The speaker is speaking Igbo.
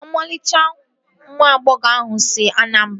Ọmarịcha nwa agbọghọ ahụ si Anambara